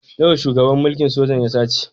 Nawa shugaban mulkin sojan ya sace?